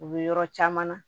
U bɛ yɔrɔ caman na